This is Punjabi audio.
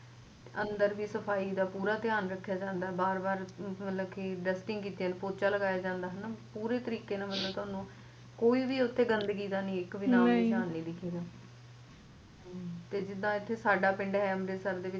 ਅੰਦਰ ਵੀ ਸਫ਼ਾਈ ਦਾ ਪੂਰਾ ਧਿਆਨ ਰਖਿਆ ਜਾਂਦਾ ਬਾਰ ਬਾਰ ਮਤਲਬ dusting ਕਰੀ ਜਾਂਦੀ ਤੇ ਪੋਚਾ ਲਗਾਇਆ ਜੰਦਾ ਪੂਰੇ ਤਰੀਕੇ ਨਾਲ ਮਤਲਬ ਤੁਹਾਨੂੰ ਕੋਈ ਵੀ ਤੁਹਾਨੂੰ ਓਥੇ ਗੰਦਗੀ ਦਾ ਨਹੀ ਨਿਸ਼ਾਨ ਦਿਖਦਾ ਤੇ ਜਿੱਦਾ ਸਾਡਾ ਪਿੰਡ ਏ ਅੰਮ੍ਰਿਤਸਰ ਦੇ ਵਿੱਚ